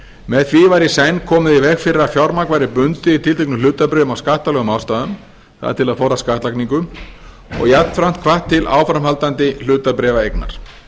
með því var í senn komið í veg fyrir að fjármagn væri bundið í tilteknum hlutabréfum af skattalegum ástæðum það er til að forðast skattlagningu og jafnframt hvatt til áframhaldandi hlutabréfaeignar